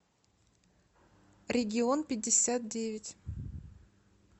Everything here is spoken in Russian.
регион пятьдесят девять